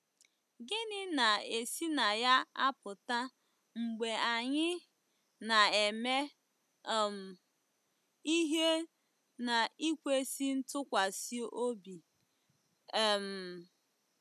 Gịnị na-esi na ya apụta mgbe anyị ‘ na-eme um ihe n’ikwesị ntụkwasị obi ’ um?